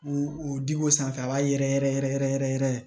U u di ko sanfɛ a b'a yɛrɛ yɛrɛ yɛrɛ yɛrɛ yɛrɛ